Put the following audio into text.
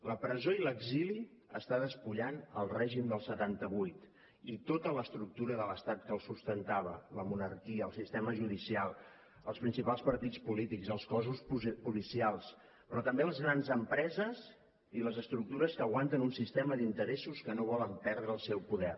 la presó i l’exili estan despullant el règim del setanta vuit i tota l’estructura de l’estat que el sustentava la monarquia el sistema judicial els principals partits polítics els cossos policials però també les grans empreses i les estructures que aguanten un sistema d’interessos que no volen perdre el seu poder